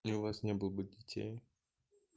и у вас не было бы детей